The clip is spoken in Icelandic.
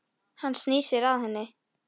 Baldvin leit upp hissa.